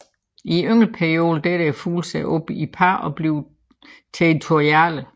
I yngleperioden deler fuglene sig op i par og bliver territoriale